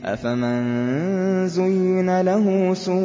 أَفَمَن زُيِّنَ لَهُ سُوءُ